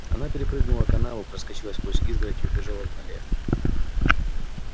она перепрыгнула канаву проскочила сквозь изгородь и убежала в ноле